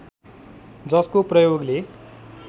जसको प्रयोगले